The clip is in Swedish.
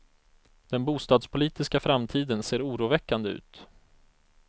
Den bostadspolitiska framtiden ser oroväckande ut.